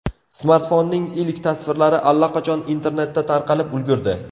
Smartfonning ilk tasvirlari allaqachon internetda tarqalib ulgurdi.